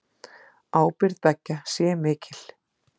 Ábyrgð beggja sé mikil.